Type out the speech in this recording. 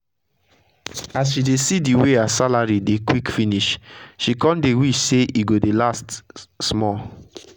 as she dey see d way her salary dey quick finish she kon dey wish sey e go dey last small.